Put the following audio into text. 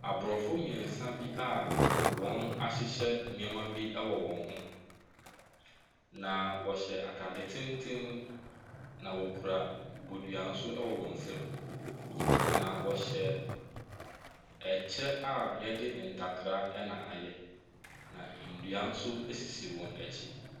Aborɔfo mmeɛnsa bi a wɔn ahyehyɛ nneɛma bi wɔ wɔn ho, na wɔhyɛ atade tenten, na wɔkura bodua nso wɔ wɔn nsam, na wɔhyɛ kyɛ a wɔde ntakra na ayɛ, na nnua nso sisi wɔn akyi.